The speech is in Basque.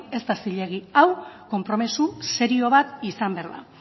ez da zilegi hau konpromiso serio bat izan behar da